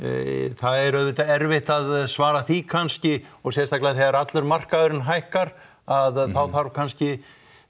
það er auðvitað erfitt að svara því kannski og sérstaklega þegar allur markaðurinn hækkar að þá þarf kannski